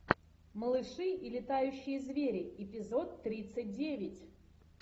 малыши и летающие звери эпизод тридцать девять